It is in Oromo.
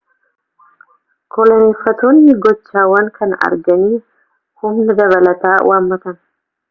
koloneeffattoonni gochaawwan kana arganii humna dabalataa waammatan